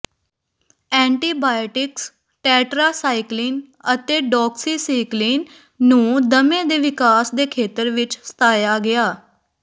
antibiotics tetracycline ਅਤੇ doxycycline ਨੂੰ ਦਮੇ ਦੇ ਵਿਕਾਸ ਦੇ ਖੇਤਰ ਵਿੱਚ ਸਤਾਇਆ ਗਿਆ